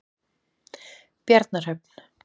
Bjarnarhöfn